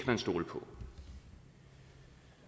man stole på